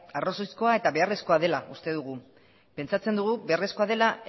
arrazoizkoa eta beharrezkoa dela uste dugu pentsatzen dugu beharrezkoa dela